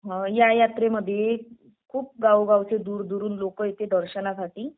य यात्रामध्ये खूप गावगावचे दूरदूरवरून लोक येते दर्शनासाठी